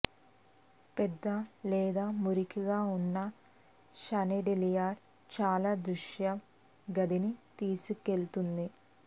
పెద్ద లేదా మురికిగా ఉన్న షాన్డిలియర్ చాలా దృశ్య గదిని తీసుకువెళుతుంది